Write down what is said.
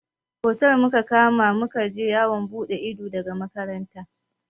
Otel muka kama da muka je yawon buɗe ido daga makaranta.